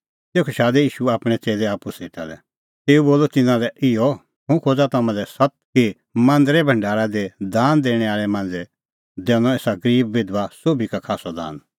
तेखअ शादै ईशू आपणैं च़ेल्लै आप्पू सेटा लै तेऊ बोलअ तिन्नां लै इहअ हुंह खोज़ा तम्हां लै सत्त कि मांदरे भढारा दी दान दैणैं आल़ै मांझ़ै दैनअ एसा गरीब बिधबा सोभी का खास्सअ दान